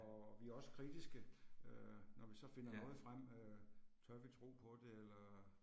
Og vi også kritiske øh, når vi så finder noget frem øh, tør vi tro på det eller